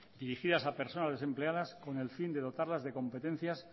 dirigidas a personas desempleadas con el fin de dotarlas de competencias